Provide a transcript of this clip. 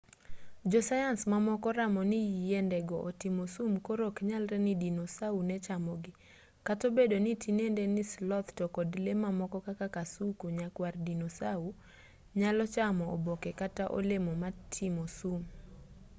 jo sayans mamoko oramo ni yiende go otimo sum koro oknyalre ni dinosau ne chamogi kata obedo ni tinende ni sloth to kod lee mamoko kaka kasuku nyakwar dinosau nyalo chamo oboke kata olemo motimo sum